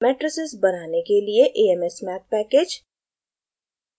matrices बनाने के लिए amsmath package